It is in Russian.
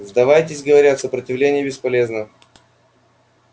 сдавайтесь говорят сопротивление бесполезно